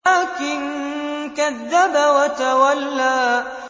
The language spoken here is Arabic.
وَلَٰكِن كَذَّبَ وَتَوَلَّىٰ